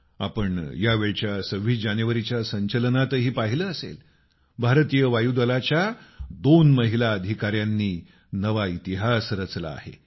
तुम्ही यावेळी 26 जानेवारीच्या संचलनातही पाहिलं असेल भारतीय वायुदलाच्या दोन महिला अधिकाऱ्यांनी नवा इतिहास रचला आहे